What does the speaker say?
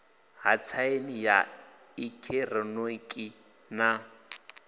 ha tsaini ya eekihironiki na